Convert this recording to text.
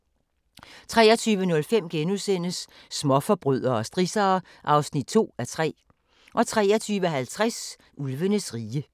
23:05: Småforbrydere og strissere (2:3)* 23:50: Ulvenes rige